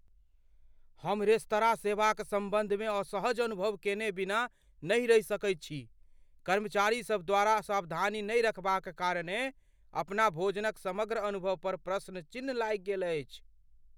हम रेस्तराँ सेवाक सम्बन्धमे असहज अनुभव केने बिना नहि रहि सकैत छी, कर्मचारीसभ द्वारा सावधानी नहि रखबाक कारणेँ अपन भोजनक समग्र अनुभव पर प्रश्नचिन्ह लागि गेल अछि।